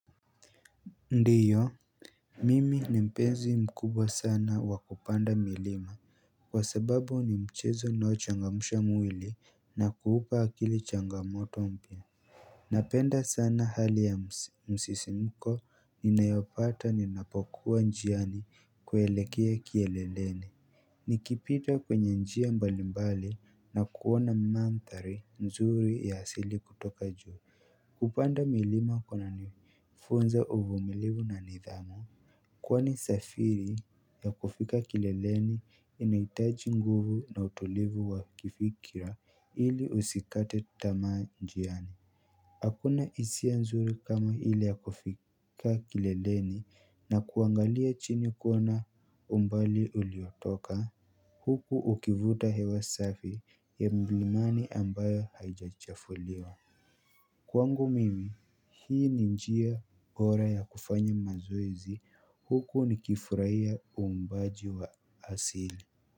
Ndiyo, mimi ni mpenzi mkubwa sana wa kupanda milima, kwa sababu ni mchezo unaochangamusha mwili na kuupa akili changamoto mpya napenda sana hali ya msisimko ninayopata ni napokuwa njiani kuelekea kieleleni nikipita kwenye njia mbalimbali na kuona manthari nzuri ya asili kutoka juu, kupanda milima kuna nifunza uvumilivu na nidhamu Kwani safiri ya kufika kileleni inaitaji nguvu na utulivu wa kifikira ili usikate tamaa njiani Hakuna isia nzuri kama ile ya kufika kileleni na kuangalia chini kuona umbali uliotoka Huku ukivuta hewa safi ya mlimani ambayo haijachafuliwa Kwangu mimi hii ni njia bora ya kufanya mazoezi huku nikifurahia uumbaji wa asili.